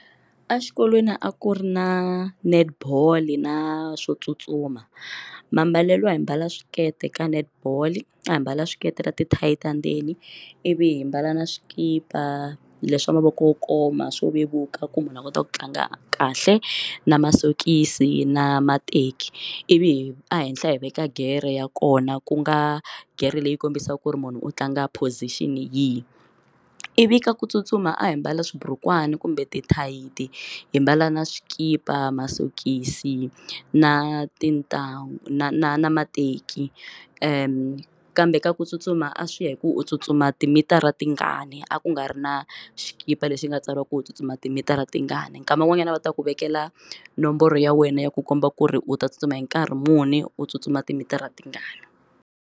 Exikolweni a ku ri na netball na swo tsutsuma mambalelo a hi mbala swikete ka netball a hi mbala swikete na ti-tight ta ndzeni ivi hi mbala na swikipa leswa mavoko wo koma swo vevuka ku munhu a kota ku tlanga kahle na masokisi na mateki ivi a henhla hi veka gere ya kona ku nga gere leyi kombisaka ku ri munhu u tlanga position yi ivi ka ku tsutsuma a hi mbala xiburukwani kumbe ti-tight hi mbala na swikipa masokisi na tintangu na na na mateki kambe ka ku tsutsuma a swi hi ku u tsutsuma timitara tingani a ku nga ri na xikipa lexi nga tsariwa ku u tsutsuma timitara tingani nkama wun'wanyana va ta ku vekela nomboro ya wena ya ku komba ku ri u ta tsutsuma hi nkarhi muni u tsutsuma timitara tingani.